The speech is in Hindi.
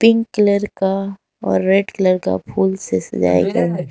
पिंक कलर का और रेड कलर का फूल से सजाई गई--